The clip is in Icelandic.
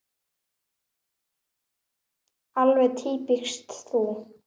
Alveg týpískt þú.